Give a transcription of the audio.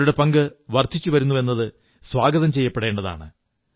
അവരുടെ പങ്ക് വർധിച്ചുവരുന്നുവെന്നത് സ്വാഗതം ചെയ്യപ്പെടേണ്ടതാണ്